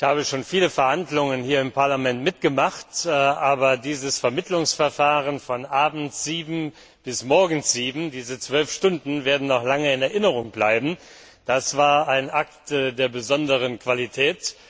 Ich habe schon viele Verhandlungen hier im Parlament mitgemacht, aber dieses Vermittlungsverfahren von abends 7 Uhr bis morgens 7 Uhr, diese 12 Stunden werden noch lange in Erinnerung bleiben. Das war ein Akt von besonderer Qualität.